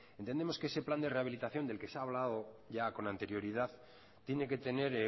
entendemos que ese plan de rehabilitación del que se ha hablado ya con anterioridad tiene que tener